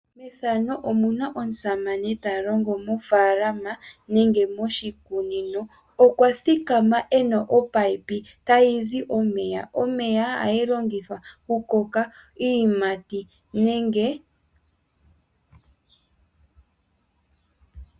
Methano omuna omusamane ta longo mofaalama nenge moshikunino. Okwa thikama ena omunino tagu zi omega. Omeya ohaga longithwa kukokeka iiyimati nenge....